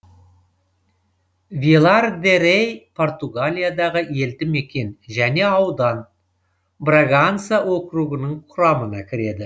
вилар де рей португалиядағы елді мекен және аудан браганса округінің құрамына кіреді